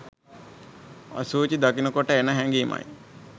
අශුචි දකිනකොට එන හැඟීමයි